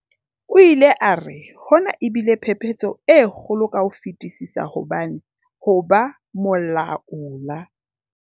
O ile a re, "Hona e bile phephetso e kgolo ka ho fetisisa hobane ho ba molaola"